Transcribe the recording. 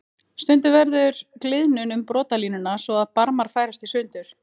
Stundum verður gliðnun um brotalínuna svo að barmar færast sundur.